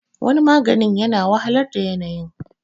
waniaganin yana wahalar da yanayin